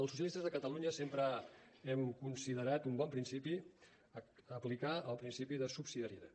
els socialistes de catalunya sempre hem considerat un bon principi aplicar el principi de subsidiarietat